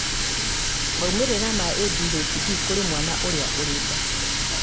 maumĩrĩra ma ADHD kũrĩ mwana ũrĩa ũrĩ nda